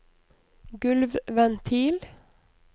gulvventil